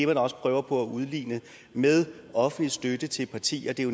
man også prøver på at udligne med offentlig støtte til partierne det er